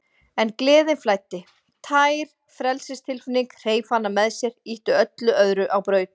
En gleðin flæddi, tær frelsistilfinningin, hreif hana með sér, ýtti öllu öðru á braut.